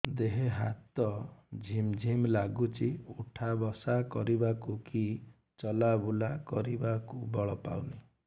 ଦେହେ ହାତ ଝିମ୍ ଝିମ୍ ଲାଗୁଚି ଉଠା ବସା କରିବାକୁ କି ଚଲା ବୁଲା କରିବାକୁ ବଳ ପାଉନି